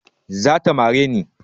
Zata mare ni